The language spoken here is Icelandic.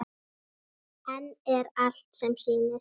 En er allt sem sýnist?